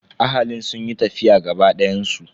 Ahalin sun yi tafiya gaba dayan su.